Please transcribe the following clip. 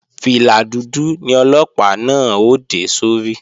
Fìlà dúdú ni Ọlọ́pàá náà ó dé sórí